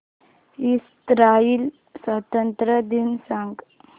Israel स्वातंत्र्य दिन सांग